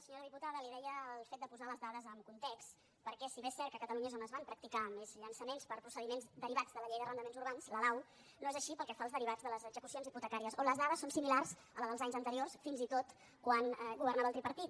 senyora diputada li deia el fet de posar les dades en context perquè si bé és cert que a catalunya és on es van practicar més llançaments per procediments derivats de la llei d’arrendaments urbans la lau no és així pel que fa als derivats de les execucions hipotecàries on les dades són similars a les dels anys anteriors fins i tot quan governava el tripartit